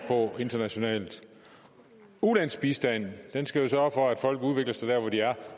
på internationalt ulandsbistanden skal sørge for at folk udvikler sig der hvor de er